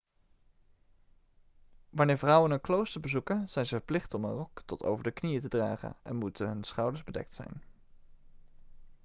wanneer vrouwen een klooster bezoeken zijn ze verplicht om een rok tot over de knieën te dragen en moeten hun schouders bedekt zijn